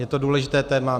Je to důležité téma.